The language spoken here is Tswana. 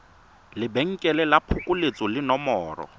lebenkele la phokoletso le nomoro